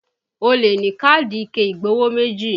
O lè ní káàdì ike igbowó méjì